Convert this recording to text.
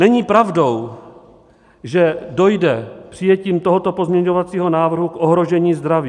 Není pravdou, že dojde přijetím tohoto pozměňovacího návrhu k ohrožení zdraví.